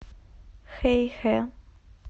хэйхэ